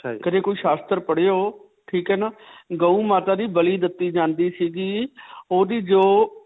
ਕਦੇ ਕੋਈ ਸ਼ਾਸਤਰ ਪੜਿਓ. ਠੀਕ ਹੈ ਨਾ. ਗੋ ਮਾਤਾ ਦੀ ਬਲੀ ਦਿੱਤੀ ਜਾਂਦੀ ਸਿਗੀ ਓਹਦੀ ਜੋ